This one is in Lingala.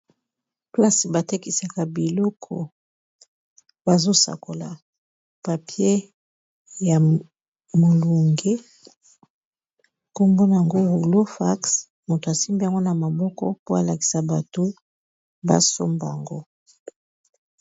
Place, ba tekisaka biloko. bazo sakola papier ya molunge, nkombo na ngo rulo fax. Moto asimbi yango na maboko, po alakisa bato ba somba ngo.